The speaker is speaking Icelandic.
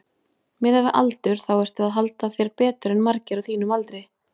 Miðað við aldur þá ertu að halda þér betur en margir á þínum aldri?